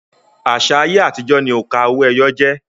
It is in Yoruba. Àṣà ayé àtijọ́ ni òǹkà owó-ẹyọ jẹ́